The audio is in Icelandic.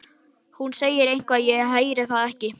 Hún segir eitthvað en ég heyri það ekki.